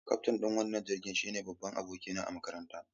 Kaftin ɗin wannan jirgin shine babban abokina a makaranta.